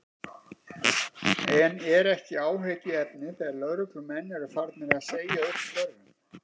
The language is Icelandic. En er ekki áhyggjuefni þegar lögreglumenn eru farnir að segja upp störfum?